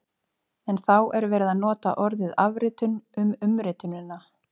En þá er verið að nota orðið afritun um umritunina!